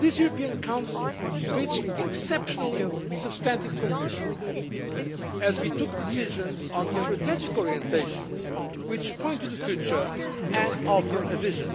The European Council reached exceptionally substantive conclusions as we took decisions on strategic orientations which point to the future and offer a vision.